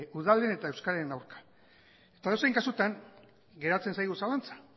udalen eta euskararen aurka eta edozein kasutan geratzen zaigu zalantza